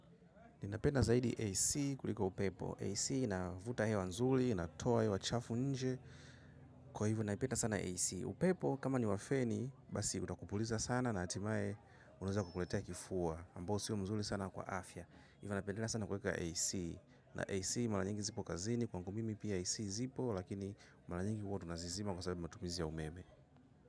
Ninapenda zaidi AC kuliko upepo. AC navuta hewa nzuri, inatoa hewa chafu nje. Kwa hivyo naipenda sana AC. Upepo kama ni wafeni, basi utakupuliza sana na hatimae unaeza kukuletea kifua. Ambao siyo mzuli sana kwa afya. Ivo napendelea sana kweka AC. Na AC malanyingi zipo kazini, kwangu mimi pia AC zipo, lakini malanyingi huwa tunazizima kwa sababu matumizi ya umeme.